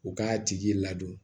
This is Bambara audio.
U k'a tigi ladon